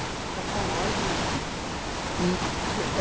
Para qual órgão que o senhor tinha prestado?